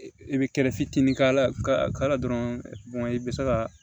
I bɛ kɛlɛfitinin k'ala ka la dɔrɔn i bɛ se ka